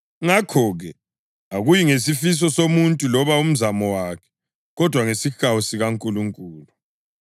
Ngakho-ke, akuyi ngesifiso somuntu loba umzamo wakhe, kodwa ngesihawu sikaNkulunkulu.